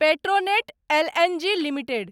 Petronet L N G limited